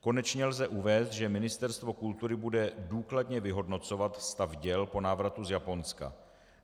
Konečně lze uvést, že Ministerstvo kultury bude důkladně vyhodnocovat stav děl po návratu z Japonska.